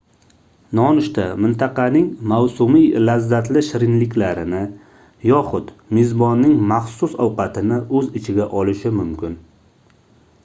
nonushta mintaqaning mavsumiy lazzatli shirinliklarini yoxud mezbonning maxsus ovqatini oʻz ichiga olishi mumkin